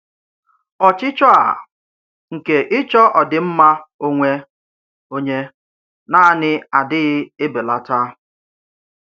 Ọ̀chịchọ̀ à nke ịchọ̀ òdị́mmà ònwé ònyé nàánì àdị́ghì ébèlátà.